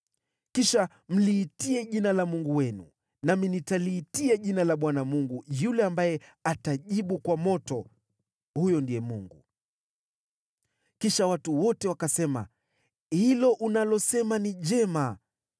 Kisha mliitie jina la mungu wenu, nami nitaliitia jina la Bwana Mungu yule ambaye atajibu kwa moto, huyo ndiye Mungu.” Kisha watu wote wakasema, “Hilo unalosema ni jema.”